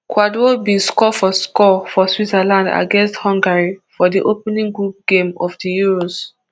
kwadwo bin score for score for switzerland against hungary for di opening group game of di euros